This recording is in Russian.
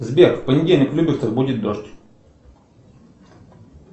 сбер в понедельник в люберцах будет дождь